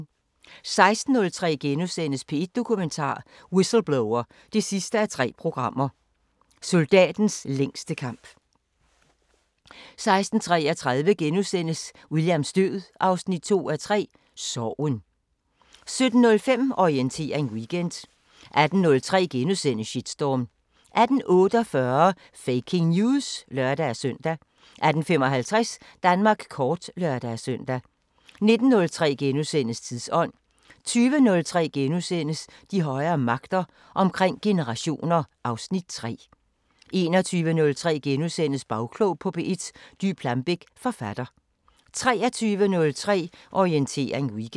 16:03: P1 Dokumentar: Whistleblower 3:3 – Soldatens længste kamp * 16:33: Williams død 2:3 – Sorgen * 17:05: Orientering Weekend 18:03: Shitstorm * 18:48: Faking News! (lør-søn) 18:55: Danmark kort (lør-søn) 19:03: Tidsånd * 20:03: De højere magter: Omkring generationer (Afs. 3)* 21:03: Bagklog på P1: Dy Plambeck, forfatter * 23:03: Orientering Weekend